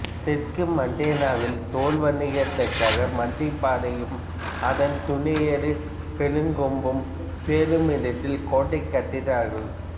தெற்கு மாண்டேனாவில் தோல் வணிகத்திற்காக மஞ்சப்பாறையும் அதன் துணையாறு பெரும்கொம்பும் சேருமிடத்தில் கோட்டை கட்டினார்கள்